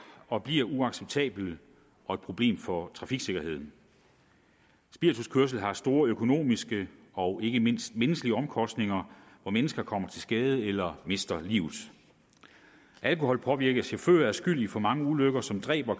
og bliver uacceptabelt og et problem for trafiksikkerheden spirituskørsel har store økonomiske og ikke mindst menneskelige omkostninger mennesker kommer til skade eller mister livet alkoholpåvirkede chauffører er skyld i for mange ulykker som dræber